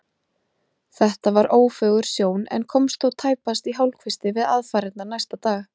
Þetta var ófögur sjón en komst þó tæpast í hálfkvisti við aðfarirnar næsta dag.